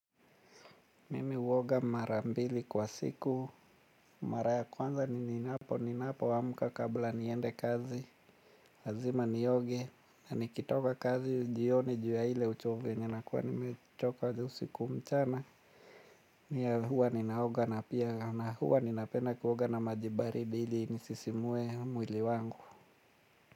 Mimi huoga mara mbili kwa siku, mara ya kwanza nininapo, ninapoamka kabla niende kazi. Lazima nioge, na nikitoka kazi jioni, juu ya ile uchovu yenye nakuwa nimechoka usiku mchana. Nia huwa ninaoga na pia, na huwa ninapenda kuoga na maji baridi ili nisisimue mwili wangu.